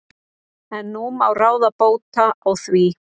En nú má ráða bóta á því.